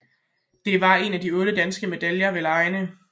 Det var den ene af otte danske medaljer ved legene